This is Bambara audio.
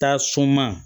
Taa sunma